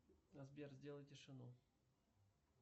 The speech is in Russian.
сбер сделай тишину